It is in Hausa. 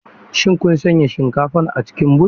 Shin kun sanya shinkafar a cikin but?